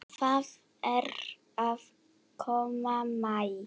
Það er að koma maí.